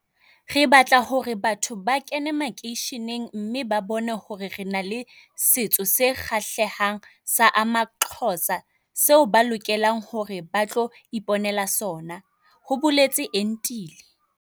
"Re batla hore batho ba kene makeisheneng mme ba bone hore re na le setso se kgahlehang sa amaXhosa seo ba lokelang hore ba tlo ipo nela sona," ho boletse Entile.